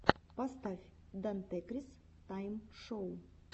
поставь дантекрис тайм шоу